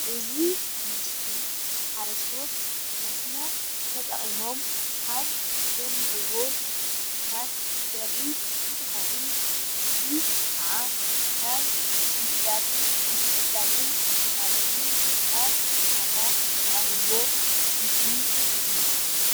እዚ ምስሊ ሓረስቶት ብመስኖ ተጠቂሞም ካብ ዘልምዕዎ ምህርትታት ዘርኢ እንትኸውን እዚ ኸኣ ናብ ምዕዳግን ምትዕድጋግን ማለት'ውን ናብ ዕዳጋ ዝቐርብዎ ምስሊ እዩ።